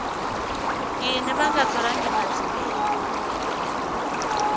yini va nga tholangi matsilele